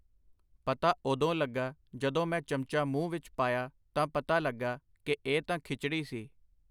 ਪਤਾ ਉਦੋਂ ਲੱਗਾ ਜਦੋਂ ਮੈਂ ਚਮਚਾ ਮੂੰਹ ਵਿੱਚ ਪਾਇਆ ਤਾਂ ਪਤਾ ਲੱਗਾ ਕਿ ਇੱਹ ਤਾਂ ਖਿਚੜੀ ਸੀ.